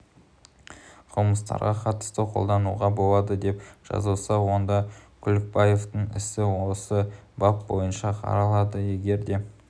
қылмыстарға қатысты қолдануға болады деп жазылса онда күлікбаевтің ісі осы бап бойынша қаралады егер де